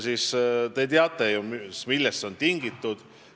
Te ju teate, millest see on tingitud.